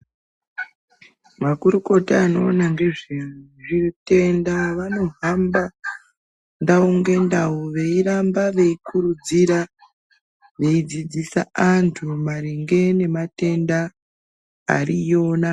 Makurukota anoona ngezvezvitenda, vanohamba ndau ngendau ,veiramba veikurudzira ,veidzidzisa antu maringe nematenda ariyo ne.....